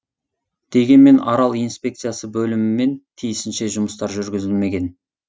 дегенмен арал инспекциясы бөлімімен тиісінше жұмыстар жүргізілмеген